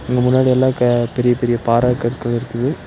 இங்க முன்னாடில க பெரிய பெரிய பாற கற்கள் இருக்குது.